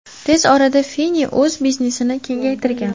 Tez orada Fini o‘z biznesini kengaytirgan.